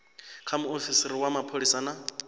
kha muofisiri wa mapholisa na